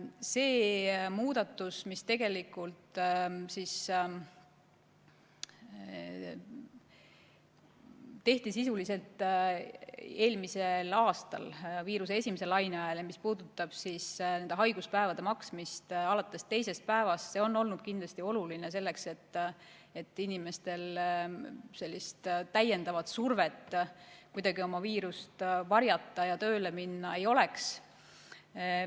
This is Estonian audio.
See muudatus, mis tehti eelmisel aastal viiruse esimese laine ajal ja mis puudutab haiguspäevade hüvitamist alates teisest päevast, on olnud kindlasti oluline selleks, et inimestel sellist täiendavat survet kuidagi oma viirust varjata ja tööle minna ei oleks.